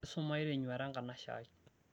esumayu tenyuata enkanaishiai